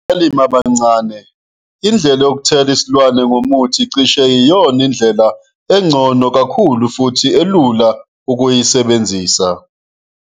Kubalimi abancane, indlela yokuthela isilwane ngomuthi cishe yiyona ndlela engcono kakhulu futhi okulula ukuyisebenzisa.